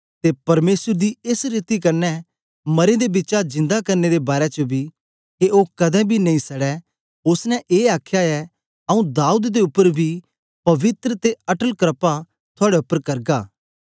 ते परमेसर दी एस रीति कन्ने मरें दे बिचा जिन्दा करने दे बारै च बी के ओ कदें बी नेई सड़ै ओसने ए आखया ऐ आंऊँ दाऊद दे उपर दी पवित्र ते अटल क्रपा थूयाडे उपर करगा